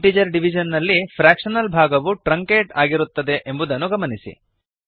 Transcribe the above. integer division ನಲ್ಲಿ fractional ಭಾಗವು truncate ಆಗಿರುತ್ತದೆ ಎಂಬುದನ್ನು ಗಮನಿಸಿ